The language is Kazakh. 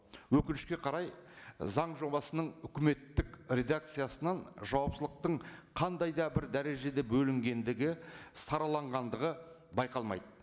өкінішке қарай заң жобасының үкіметтік редакциясынан жауапшылықтың қандай да бір дәрежеде бөлінгендігі сараланғандығы байқалмайды